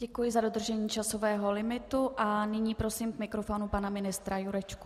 Děkuji za dodržení časového limitu a nyní prosím k mikrofonu pana ministra Jurečku.